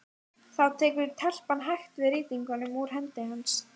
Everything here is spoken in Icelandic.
Þá tekur telpan hægt við rýtingnum úr hendi hans.